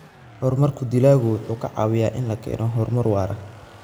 Horumarka dalaggu wuxuu ka caawiyaa in la keeno horumar waara.